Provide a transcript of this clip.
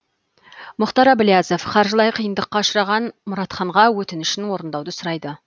мұхтар әблязов қаржылай қиындыққа ұшыраған мұратханға өтінішін орындауды сұрайды